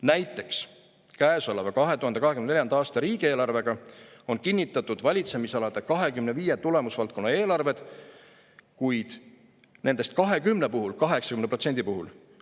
Näiteks, käesoleva, 2024. aasta riigieelarvega on kinnitatud valitsemisalade 25 tulemusvaldkonna eelarved, kuid nendest 20 puhul – 80% puhul!